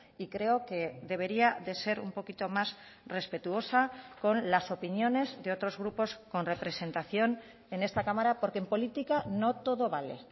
y creo que debería de ser un poquito más respetuosa con las opiniones de otros grupos con representación en esta cámara porque en política no todo vale